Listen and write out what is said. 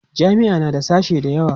jami'a na da sashe da yawa